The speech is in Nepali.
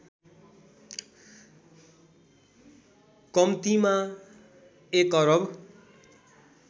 कम्तिमा १ अरब